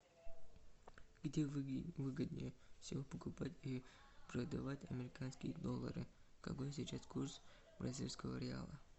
где выгоднее всего покупать и продавать американские доллары какой сейчас курс бразильского реала